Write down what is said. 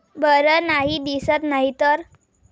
बर नाही दिसत नाहीतर!